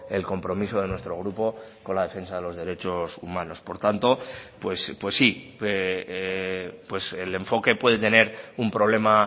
el compromiso de nuestro grupo con la defensa de los derechos humanos por tanto pues sí el enfoque puede tener un problema